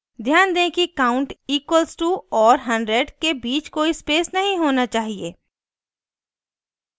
ध्यान दें कि count इक्वल्स टू और 100 के बीच कोई space नहीं होना चाहिए